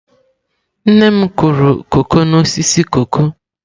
Nne m kụrụ koko n'osisi koko.